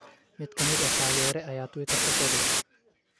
Mid ka mid ah taageere ayaa Twitter-ka soo dhigay.